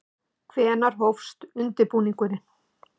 Hvenær hófst undirbúningur?